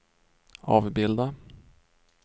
avbilda